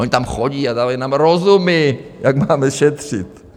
Oni tam chodí a dávají nám rozumy, jak máme šetřit.